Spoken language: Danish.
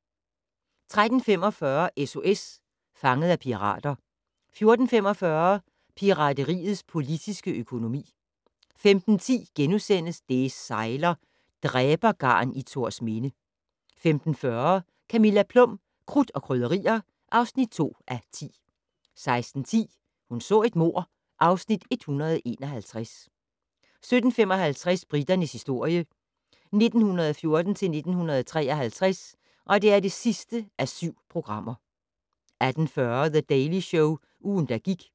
13:45: SOS Fanget af pirater 14:45: Pirateriets politiske økonomi 15:10: Det sejler - Dræbergarn i Thorsminde * 15:40: Camilla Plum - Krudt og Krydderier (2:10) 16:10: Hun så et mord (Afs. 151) 17:55: Briternes historie 1914-1953 (7:7) 18:40: The Daily Show - ugen, der gik